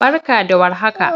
barka da war haka